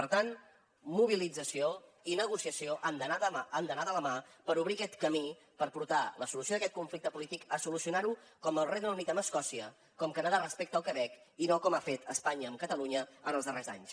per tant mobilització i negociació han d’anar de la mà per obrir aquest camí per portar la solució d’aquest conflicte polític a solucionar ho com el regne unit amb escòcia com canadà respecte al quebec i no com ha fet espanya amb catalunya en els darrers anys